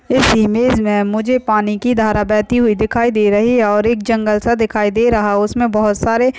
इस इमेज में मुझे पानी की धारा बहती हुई दिखाई दे रही है और एक जंगल सा दिखाई दे रहा है उसमें बहुत सारे--